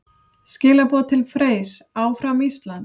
Skilaboð til Freys: Áfram Ísland!